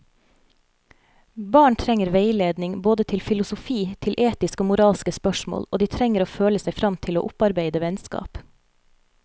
Barn trenger veiledning både til filosofi, til etiske og moralske spørsmål, og de trenger å føle seg frem til å opparbeide vennskap.